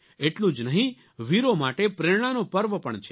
એટલું જ નહીં વીરો માટે પ્રેરણાનો પર્વ પણ છે